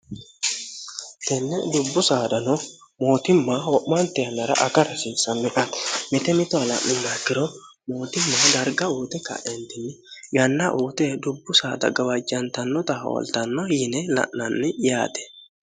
tenne dubbu saadano mootimma ho'maante yannara aka rasiissanmiati mite mitoha la'nummakkiro mootimma darga uute ka'entinni yanna uute dubbu saada gawajjantannota hooltanno yine la'nanni yaate